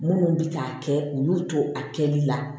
Minnu bɛ k'a kɛ olu to a kɛli la